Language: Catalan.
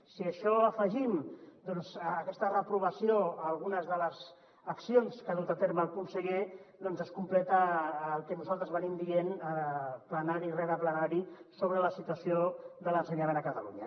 si això ho afegim doncs aquesta reprovació a algunes de les accions que ha dut a terme el conseller es completa el que nosaltres diem plenari rere plenari sobre la situació de l’ensenyament a catalunya